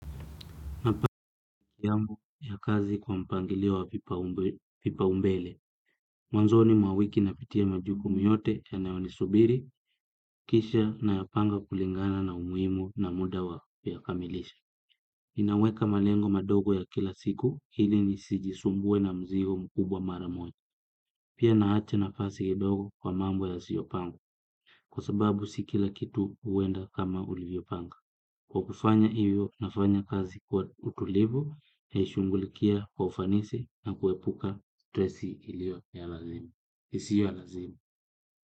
Napanga ya kazi kwa mpangilio wa vipaombele. Mwanzoni mwa wiki napitia majukumu yote yanaoyo nisubiri, kisha nayapanga kulingana na umuhimu na muda wa kuyakamilisha. Ninaweka malengo madogo ya kila siku ili nisijisumbue na mzigo mkubwa mara moja. Pia naacha nafasi kidogo kwa mambo yasiyopangwa kwa sababu si kila kitu huenda kama ulivyopanga. Kwa kufanya hivyo nafanya kazi kwa utulivu naishugulikia kwa ufanisi na kuepuka stresi iliyo ya lazima. Isiyo ya lazima.